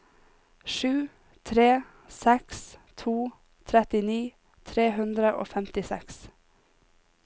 sju tre seks to trettini tre hundre og femtiseks